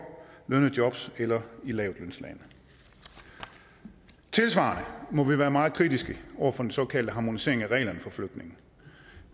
lønnede jobs eller i lavtlønslande tilsvarende må vi være meget kritiske over for den såkaldte harmonisering af reglerne for flygtninge